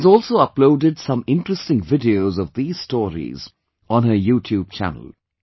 She has also uploaded some interesting videos of these stories on her YouTube channel